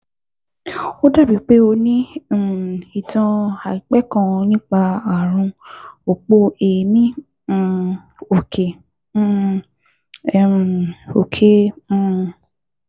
Ó dàbíi pé o ní um ìtàn àìpẹ́ kan nípa ààrùn òpó èémí um òkè um um òkè um